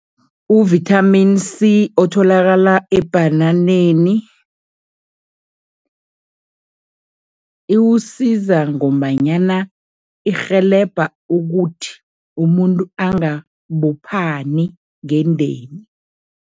U-Vitamin C otholakala ebhananeni, iwusiza ngombanyana irhelebha ukuthi umuntu angabophani ngendeni.